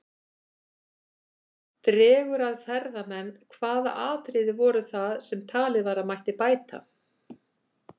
Dregur að ferðamenn Hvaða atriði voru það sem talið var að mætti bæta?